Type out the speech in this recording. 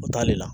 O t'ale la